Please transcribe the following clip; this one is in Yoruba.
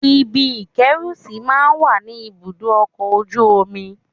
Ibi ìkẹ́rùsí máa ń wà ní ibùdó ọkọ̀ ojú omi